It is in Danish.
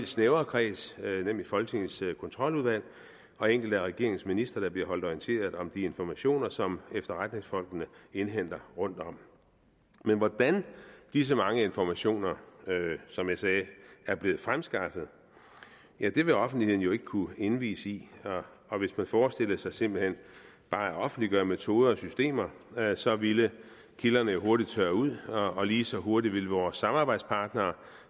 snævrere kreds nemlig folketingets kontroludvalg og enkelte af regeringens ministre der bliver holdt orienteret om de informationer som efterretningsfolkene indhenter rundtom men hvordan disse mange informationer som jeg sagde er blevet fremskaffet ja det vil offentligheden jo ikke kunne indvies i og hvis man forestillede sig simpelt hen bare at offentliggøre metoder og systemer så ville kilderne jo hurtigt tørre ud og og lige så hurtigt ville vores samarbejdspartnere